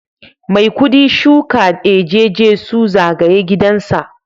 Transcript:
Maikudi shuka eje Jesu zagaye gidansa